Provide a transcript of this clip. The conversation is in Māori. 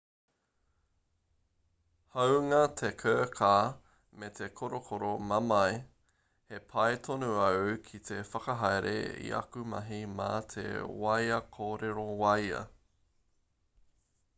hāunga te kirkā me te korokoro mamae he pai tonu au hei whakahaere i aku mahi mā te wāea kōrero wāea